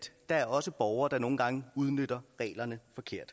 er også borgere der nogle gange udnytter reglerne